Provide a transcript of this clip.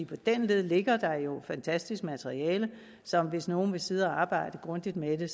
på den led ligger der jo et fantastisk materiale så hvis nogen vil sidde og arbejde grundigt med det